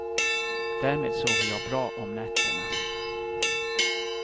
Därmed sover jag bra om nätterna.